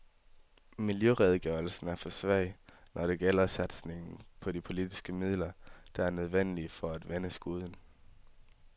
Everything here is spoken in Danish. Miljøredegørelsen er for svag, når det gælder satsningen på de politiske midler, der er nødvendige for at vende skuden.